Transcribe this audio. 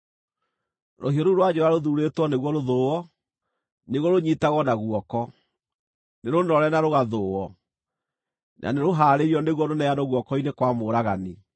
“ ‘Rũhiũ rũu rwa njora rũthuurĩtwo nĩguo rũthũũo, nĩguo rũnyiitagwo na guoko; nĩrũnoore na rũgathũũo, na nĩrũhaarĩirio nĩguo rũneanwo guoko-inĩ kwa mũũragani.